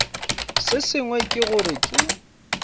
se sengwe ke gore ke